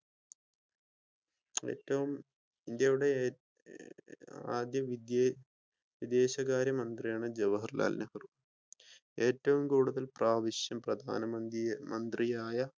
ഏറ്റവും ഇന്ത്യയുടെ ആദ്യ വിദേശ വിദേശകാര്യ മന്ത്രിയാണ് ജവാഹർലാൽ നെഹ്‌റു. ഏറ്റവും കൂടുതൽ പ്രാവിശ്യം പ്രധാനമന്ത്രിയായി